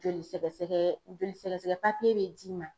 Joli sɛgɛsɛgɛ, joli sɛgɛsɛgɛ papiye be d'i ma.